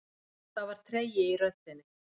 Það var tregi í röddinni.